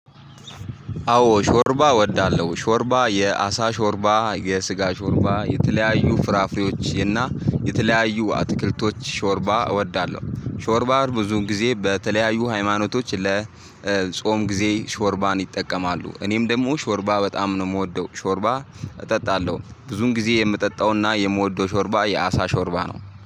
አዎ ሾርባ እወዳለሁ። ሾርባ የአሳ ሾርባ፤ የስጋ ሾርባ፤ የተለያዩ ፍራፍሬዎች እና የተለያዩ አትክልቶች ሾርባ እወዳለሁ። ሾርባ ብዙ ጊዜ በተለያዩ ሃይማኖቶች ለጾም ጊዜ ሾርባን ይጠቀማሉ። እኔም ደግሞ ሾርባ በጣም ነው የምወደው። ሾርባ እጠጣለሁ። ብዙውን ጊዜ የምጠጣውና የምወደው ሾርባ የአሳ ሾርባ ነው።